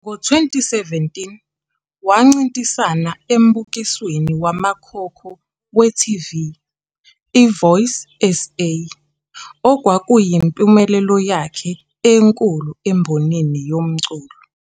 Ngo-2017, wancintisana embukisweni wamakhono we-TV, i-Voice SA, okwakuyimpumelelo yakhe enkulu embonini yomculo.